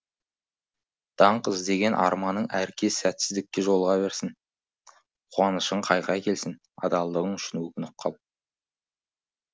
даңқ іздеген арманың әр кез сәтсіздікке жолыға берсін қуанышың қайғы әкелсін адалдығың үшін өкініп қал